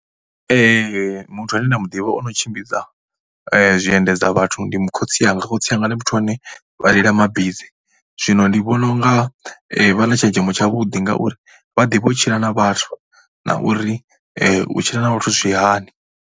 Muthu ane nda mu ḓivha a no tshimbidza zwiendedza vhathu ndi khotsi anga. Khotsi anga ndi muthu ane vha reila mabisi. Zwino ndi vhona u nga vha na tshenzhemo tshavhuḓi ngauri vha ḓivha u tshila na vhathu na uri u tshila na vhathu zwi hani.